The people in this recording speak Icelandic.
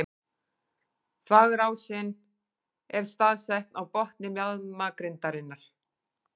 Þvagrásin er staðsett á botni mjaðmagrindarinnar.